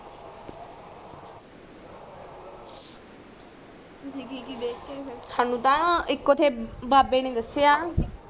ਤੁਸੀਂ ਕਿ ਕਿ ਦੇਖ ਕੇ ਆਏ ਹੋ ਫਿਰ ਸਾਨੂ ਤਾ ਇੱਕੋ ਬਾਬੇ ਨੇ ਦਸਯਾ